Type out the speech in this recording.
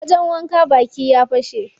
Wajen wanke baki ya fashe.